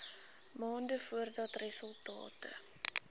maande voordat resultate